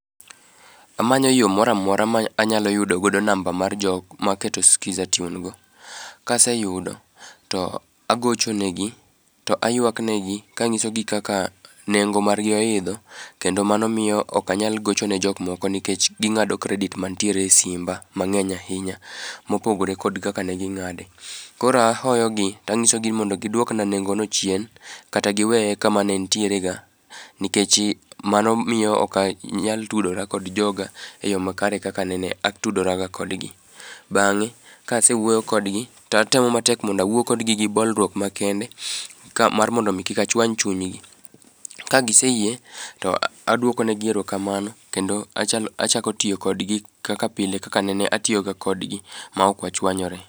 Amanyo yo moro amora manyalo yudo godo namba mar jok maketo sikiza tune go. Ka aseyudo to agocho negi ro ayuak negi kanysogi kaka nengo margi oidho kendo mano miyo ok anyal gocho ne jok moko nikech gi ng'ado credit mantiere e simba mang'eny ahinya mopogore kod kaka ne ging'ade. Koro ahoyo gi to anyisogi ni mondo giduokna nengono chien, kata giweye kama ne entierega nikechi mano miyo ok anyal tudora kod joga eyo makare kaka nene audora ga kodgi. Bang'e kase wuoyo kodgi to atemo matem mondo awuo kodgi gi bolruok makende ka mar modo mi kik achuany chungi. Ka giseyie to aduoko negi erokamano kendo achalo achako tiyo kodgi kaka pile kakanene atiyoga kodgi maok wachuanyore.